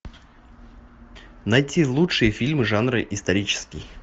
найти лучшие фильмы жанра исторический